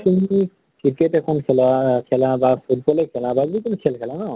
তুমি যদি cricket এখন খেলা বা foot ball এ খেলা বা যি কোনো খেল খেলা ন